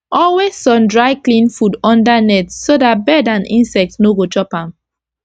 always sun dry clean food under net so dat bird and insect no go chop am